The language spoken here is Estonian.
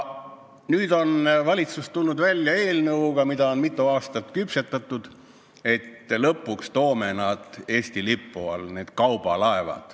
Nüüd on valitsus tulnud välja mitu aastat küpsetatud eelnõuga, et lõpuks toome kaubalaevad Eesti lipu alla.